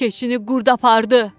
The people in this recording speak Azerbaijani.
Keçini qurd apardı.